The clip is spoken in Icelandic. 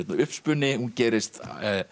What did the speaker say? uppspuni hún gerist